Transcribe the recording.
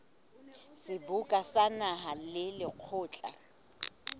seboka sa naha le lekgotla